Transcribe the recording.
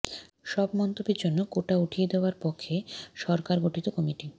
সব মন্তব্যের জন্য কোটা উঠিয়ে দেওয়ার পক্ষে সরকার গঠিত কমিটি